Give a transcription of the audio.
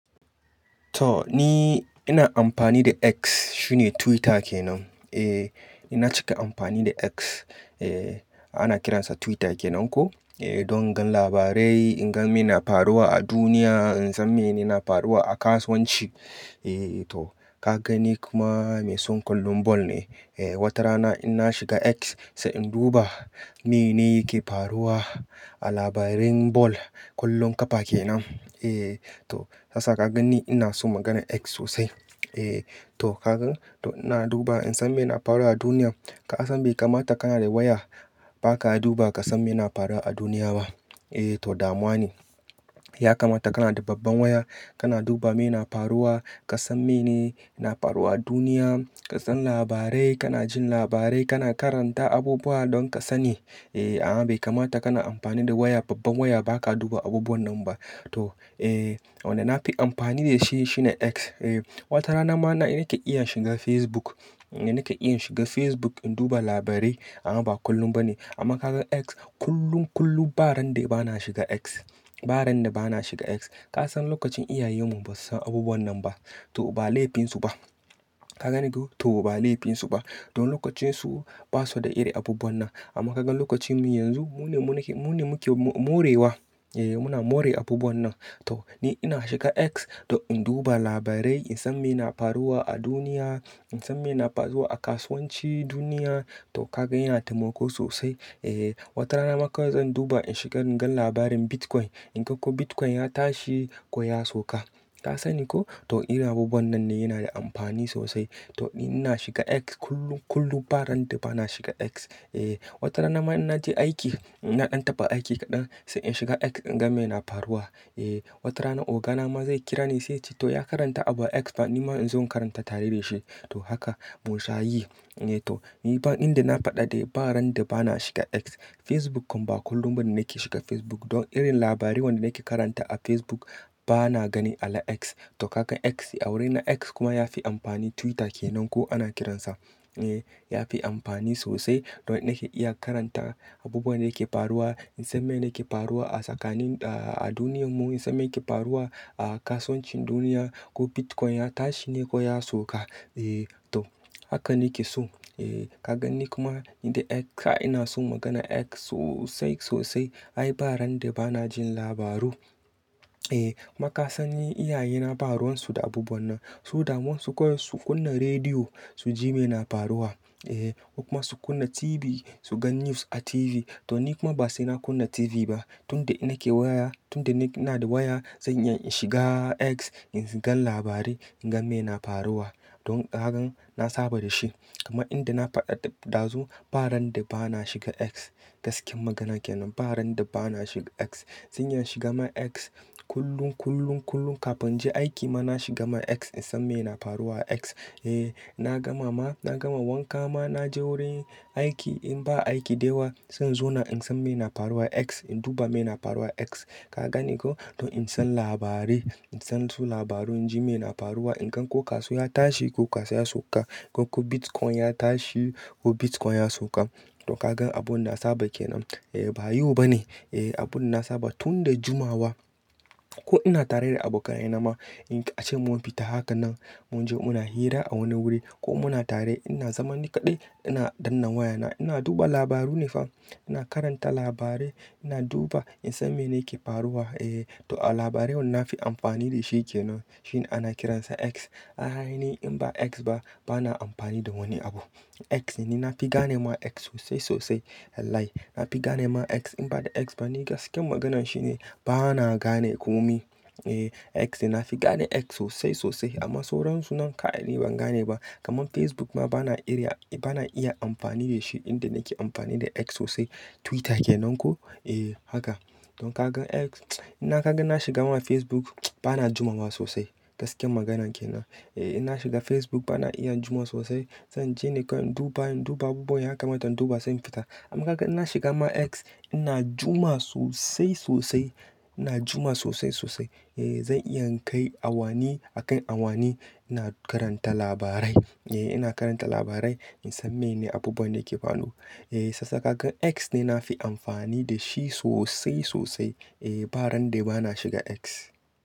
Toh ni, ina amfani da X, shine Twitter kenan. Eh, ina cika amfani da X, eh, ana kiransa Twitter kenan ko, eh, don gan labarai, in gan me na faruwa a duniya, in san me ne na faruwa a kasuwanci. Eh toh ka ga ni kuma mai son kullum ball ne. Eh, wata rana ina shiga X, sai in duba me ne ke faruwa a labarin ball kullum kafa kenan. Eh toh yasa ka gani ina son maganar X sosai. Eh toh ka gan toh ina duba in san me na faruwa a duniya. Ka san bai kamata kana da waya ba ka duba ka san me na faruwa a duniya ba. E to damuwa ne. Ya kamata kana da babban waya, kana duba me na faruwa, ka san me ne na faruwa a duniya, ka san labarai, kana jin labarai, kana karanta abubuwa don ka sani. Eh, a'a bai kamata kana amfani da waya babban waya ba ka duba abubuwan nan ba. Toh eh, wanda na fi amfani da shi shine X. Eh wata rana ma na nake iya shiga Facebook, nake iya shiga Facebook in duba labarai amma ba kullum ba ne. Amma ka gan X kullum, kullum ba ran da ba na shiga X, ba ran da ba na shiga X. Ka san lokacin iyayenmu ba su san abubuwan nan ba. To ba laifinsu ba. Ka gani ko? To ba laifinsu ba. Don lokacinsu ba su da iri abubuwan nan. Amma ka gan lokacinmu yanzu mu ne muke, mu ne muke morewa. E muna more abubuwan nan. Toh ni ina shiga X don in duba labarai, in san me na faruwa a duniya, in san me na faruwa a kasuwanci duniya. Toh ka gan yana taimako sosai. Ej wata rana ma kawai zan duba in shiga in gan labarin Bitcoin. In gan ko Bitcoin ya tashi ko ya sauka. Ka sani ko? Toh irin abubuwan nan ne yana da amfani sosai. To ni ina shiga X kullum, kullum ba ran da ba na shiga X. Eh wata rana ma in na je aiki, ina ɗan taɓa aiki kaɗan sai in shiga X in gan me na faruwa. Eh wata rana oga na ma zai kira ni sai ce toh ya karanta abu a X fa ni ma in zo in karanta tare da shi. To haka mun sha yi. Eh toh ni fa inda na faɗa dai ba ran da ba na shiga X. Facebook kam ba kullum ba ne nake shiga Facebook don irin labarai wanda nake karanta a Facebook bana gani a la X. Toh ka gan X a wurina X kuma yafi amfani Twitter kenan ko ana kiransa. Eh yafi amfani sosai don nake iya karanta abubuwan da yake faruwa, in san me yake faruwa a tsakanin, ah, a duniyarmu, in san me yake faruwa a kasuwancin duniya ko Bitcoin ya tashi ne ko ya sauka. E to haka nake so. Eh ka gani kuma in dai X, kai ina son maganar X sosai, sosai. Ai ba ran da ba na jin labaru. Eh maka san ni iyaye na ba ruwan su da abubuwan nan. Su damun su kawai su kunna rediyo, su ji me na faruwa. Eh ko kuma su kunna TV, su gan news a TV. To ni kuma ba sai na kunna TV ba. Tun da nake waya, tun da ni ina da waya, zan iya in shiga X, in gan labarai, in gan me na faruwa. Don ka gan na saba da shi. Amma inda na faɗa ɗazu ba ran da ba na shiga X. Gaskiya magana kenan ba ran da ba na shiga X. Zan iya shiga ma X kullum, kullum, kullum kafin je aiki ma na shiga ma X in san me na faruwa a X. Eh na gama ma, na gama wanka ma na je wurin aiki in ba aiki da yawa, zan zo na in san me na faruwa a X, in duba me na faruwa a X. Ka gani ko? Don in san labarai, in san su labaru, in ji me na faruwa, in gan ko kasuwa ya tashi ko kasuwa ya sauka, ko ko Bitcoin ya tashi ko Bitcoin ya sauka. Toh ka gan abun da na saba kenan. Eh ba yau ba ne, eh abun da na saba tun da jumawa. Ko ina tare da abokaye nama, in ka, a ce mun fita haka nan, mun je muna hira a wani wuri ko muna tare ina zaman ni kaɗai, ina ɗan nan wayana, ina duba labaru ne fa. Ina karanta labarai, ina duba in san mene yake faruwa. E to a labarai wanda na fi amfani da shi kenan shine ana kiransa X. A ainihin in ba X ba bana amfani da wani abu. X ne, ni na fi gane ma X sosai sosai. Lai-lai na fi gane ma X in ba da X ba ni gaskiyar maganan shi ne ba na gane komi. X ne, na fi gane X sosai sosai. Amma sauran su nan kai ni ban gane ba. Kaman Facebook ma ba na iya, ba na iya amfani da shi inda nake amfani da X sosai Twitter kenan ko. Eh haka! Don ka gan X, ina ka gan na shiga ma Facebook bana juma ma sosai. Gaskiyar magana kenan. Eh ina shiga Facebook bana iya juma sosai. Zan je ne kai in duba, in duba abubuwa ya mata in duba sai in fita. Amma ka gan ina shiga ma X ina juma sosai, sosai. Ina juma sosai, sosai. Eh zan iya in kai awani a kai awani. Ina karanta labarai. Eh ina karanta labarai, in san mene abubuwan da ke faruwa. Eh sassa ka gan X ne na fi amfani da shi sosai, sosai. Eh ba ran da ba na shiga X.